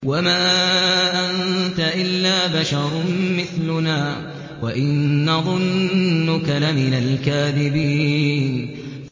وَمَا أَنتَ إِلَّا بَشَرٌ مِّثْلُنَا وَإِن نَّظُنُّكَ لَمِنَ الْكَاذِبِينَ